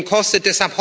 kostet.